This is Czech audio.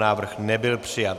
Návrh nebyl přijat.